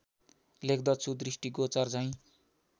लेख्दछु दृष्टिगोचर झैँ